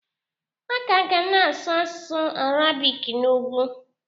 A ka ga-na asụ asụsụ Arabik n'ugwu.